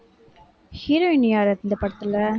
heroine யாரு இந்த படத்துல?